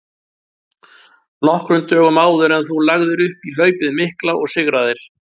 nokkrum dögum áður en þú lagðir upp í hlaupið mikla og sigraðir.